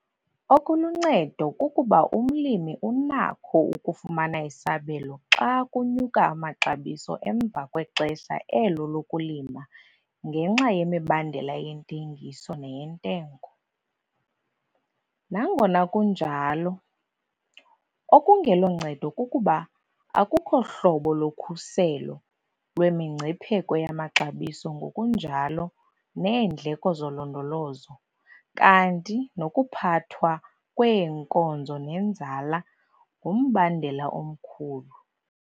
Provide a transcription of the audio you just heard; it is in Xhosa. Okuluncedo kukuba umlimi unakho ukufumana isabelo xa kunyuka amaxabiso emva kwexesha elo lokulima ngenxa yemibandela yentengiso neyentengo. Nangona kunjalo, okungeloncedo kukuba akukho hlobo lokhuselo lwemingcipheko yamaxabiso ngokunjalo neendleko zolondolozo, kanti nokuphathwa kweenkozo nenzala ngumbandela omkhulu.